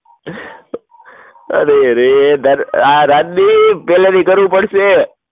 અરે રે, આ રાજદીપક કેલરી કરવું પડશે